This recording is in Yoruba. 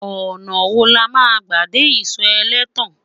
ọnà wò lama gbà dé iso elétàn?